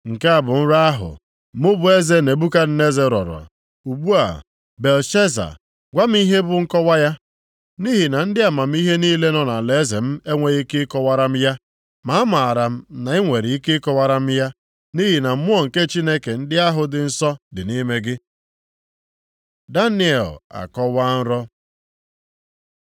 “Nke a bụ nrọ ahụ, mụ bụ eze Nebukadneza rọrọ, ugbu a, Belteshaza, gwa m ihe bụ nkọwa ya. Nʼihi na ndị amamihe niile nọ nʼalaeze m enweghị ike ịkọwara m ya. Ma amaara m na i nwere ike ịkọwara m ya, nʼihi na mmụọ nke chi ndị ahụ dị nsọ dị nʼime gị.” Daniel akọwaa nrọ